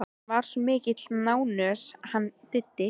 Hann er svo mikil nánös hann Diddi.